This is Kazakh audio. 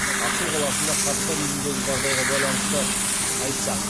ақсу қаласында қарттар үйіндегі жағдайға байланысты айтсақ